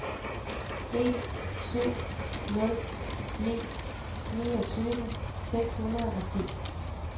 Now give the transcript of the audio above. en syv nul ni niogtyve seks hundrede og ti